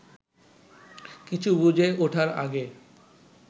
কিছু বুঝে ওঠার আগে